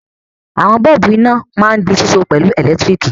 Àwọn bọ́ọ́bú iná máa ń di síso pẹ̀lú ẹ̀lẹ́tíríkì.